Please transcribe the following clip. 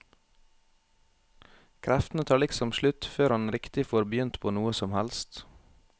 Kreftene tar liksom slutt før han riktig får begynt på noe som helst.